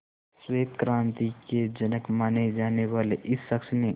श्वेत क्रांति के जनक माने जाने वाले इस शख्स ने